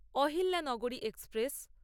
Ahilyanagari express